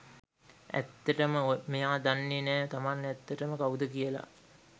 ඇත්තටම මෙයා දන්නේ නෑ තමන් ඇත්තටම කවුද කියලා.